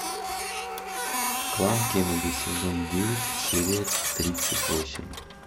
клан кеннеди сезон девять серия тридцать восемь